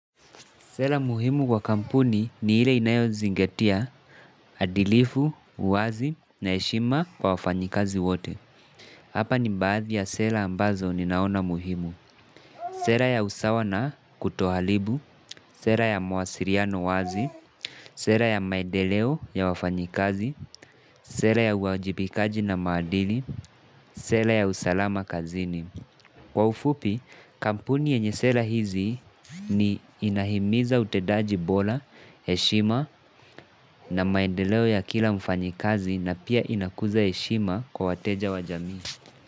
Sela muhimu kwa kampuni ni ile inayo zingatia, adilifu, uwazi na heshima kwa wafanyikazi wote. Hapa ni baadhi ya sela ambazo ni naona muhimu. Sela ya usawa na kutohalibu, sela ya mawasiliano wazi, sela ya maendeleo ya wafanyikazi, sela ya uajibikaji na maadili, sela ya usalama kazini. Kwa ufupi, kampuni yenye sela hizi ni, inahimiza utedaji bora, heshima na maendeleo ya kila mfanyikazi na pia inakuza heshima kwa wateja wa jamii.